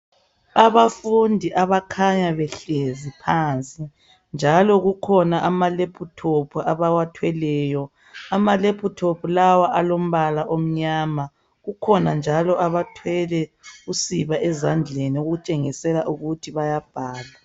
Abafundi abakhanya behlezi phansi ,njalo kukhona amalaptop abawathweleyo. Ama laptop lawa alombala omnyama kukhona njalo abathwele usiba ezandleni okutshengisela ukuthi bayabhala.